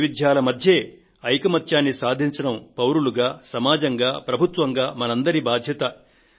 ఈ వైవిధ్యాల మధ్యే ఐకమత్యాన్ని సాధించడం పౌరులుగా సమాజంగా ప్రభుత్వంగా మనందరి బాధ్యత